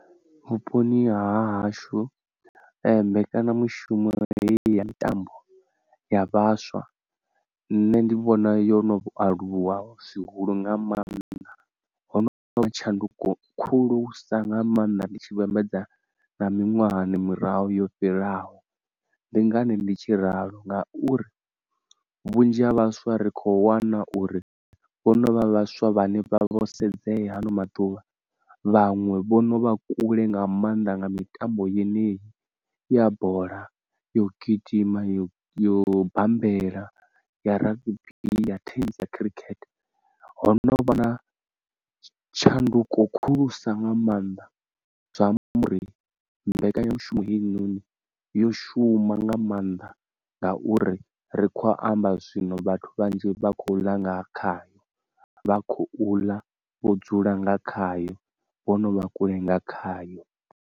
Vhuponi ha hashu mbekanyamushumo hei ya mitambo ya vhaswa nṋe ndi vhona yo no aluwa zwihulu nga mannḓa, hono vha na tshanduko khulusa nga maanḓa ndi tshi vhambedza na miṅwahani murahu yo fhiraho, ndi ngani ndi tshi ralo ngauri vhunzhi ha vhaswa ri kho wana uri vho no vha vhaswa vhane vha vha vho sedzea ha ano maḓuvha, vhanwe vho no vha kule nga maanḓa nga mitambo yeneyi ya bola, yo gidima, yo yo bammbela, ya rugby, ya tennis na khirikhethe, ho no vha na tshanduko khulusa nga maanḓa zwi amba uri mbekanyamushumo hei noni yo shuma nga maanḓa ngauri ri khou amba zwino vhathu vhanzhi vha khou ḽa nga khayo vha khou ḽa vho dzula nga khayo vho no vha kule nga khayo.